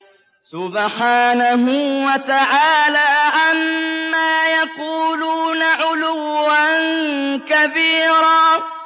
سُبْحَانَهُ وَتَعَالَىٰ عَمَّا يَقُولُونَ عُلُوًّا كَبِيرًا